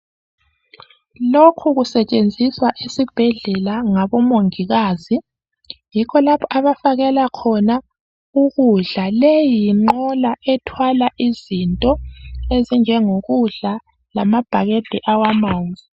Lokhu sekusetshenziswa esibhedlela ngabomongikazi, yikho lapha abafakela khona ukudla. Leyi yinqola ethwala izinto ezinjengo kudla lama bhakede awamanzi.